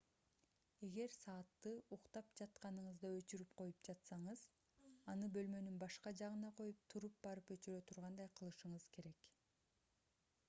эгер саатты уктап жатканыңызда өчүрүп коюп жатсаңыз аны бөлмөнүн башка жагына коюп туруп барып өчүрө тургандай кылышыңыз керек